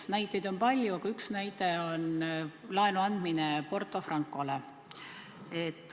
Näiteid on palju, aga üks näide on laenu andmine Porto Francole.